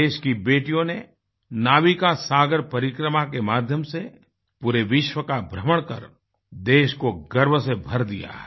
देश की बेटियों ने नाविका सागर परिक्रमा के माध्यम से पूरे विश्व का भ्रमण कर देश को गर्व से भर दिया है